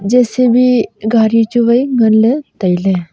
J_C_B gari chu wai ngan ley tailey.